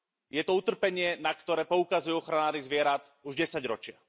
Je to utrpenie, na ktoré poukazujú ochranári zvierat už desaťročia.